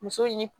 Muso in ni